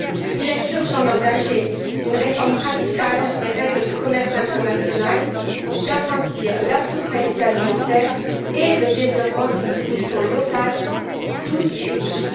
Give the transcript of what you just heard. Il est urgent d'engager une réforme radicale des règles du commerce international pour garantir la souveraineté alimentaire et le développement d'une production locale pour toutes et tous.